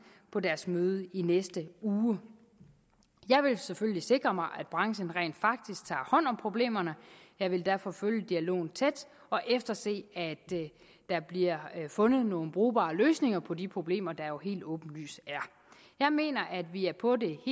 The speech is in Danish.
på deres møde i næste uge jeg vil selvfølgelig sikre mig at branchen rent faktisk tager hånd om problemerne jeg vil derfor følge dialogen tæt og efterse at der bliver fundet nogle brugbare løsninger på de problemer der jo helt åbenlyst er jeg mener at vi er på det